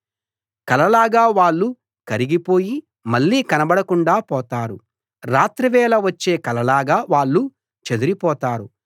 కల లాగా వాళ్ళు కరిగి పోయి మళ్ళీ కనబడకుండా పోతారు రాత్రివేళ వచ్చే కలలాగా వాళ్ళు చెదరిపోతారు